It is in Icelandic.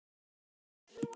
Spennandi tímar?